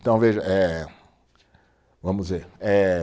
Então veja eh, vamos ver, eh